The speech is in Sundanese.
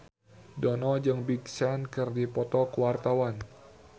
Dono jeung Big Sean keur dipoto ku wartawan